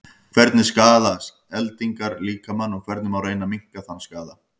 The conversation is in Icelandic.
hvernig skaða eldingar líkamann og hvernig má reyna að minnka þann skaða